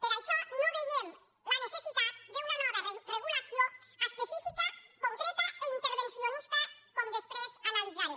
per això no veiem la necessitat d’una nova regulació específica concreta i intervencionista com després analitzaré